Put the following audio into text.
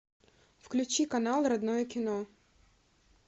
включи канал родное кино